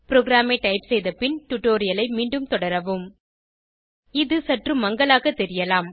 ப்ரோகிராமை டைப் செய்த பின் டுடோரியலை மீண்டும் தொடரவும் இது சற்று மங்கலாக தெரியலாம்